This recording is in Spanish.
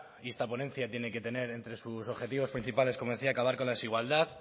y esta ponencia tiene que tener entre sus objetivos principales como decía acabar con la desigualdad